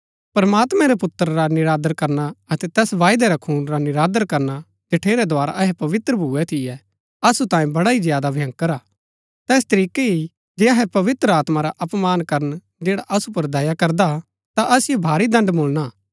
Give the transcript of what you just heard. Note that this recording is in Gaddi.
प्रमात्मैं रै पुत्र रा निरादर करना अतै तैस वायदै रै खून रा निरादर करना जठेरै द्धारा अहै पवित्र भुऐ थियै असु तांये बड़ा ही ज्यादा भंयकर हा तैस तरीकै ही जे अहै पवित्र आत्मा रा अपमान करन जैड़ा असु पुर दया करदा हा ता असिओ भारी दण्ड़ मुळणा हा